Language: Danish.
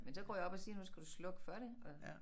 Men så går jeg op og siger nu skal du slukke for det og